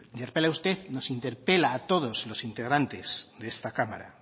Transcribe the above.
greta thunberg nos interpela a todos los integrantes de esta cámara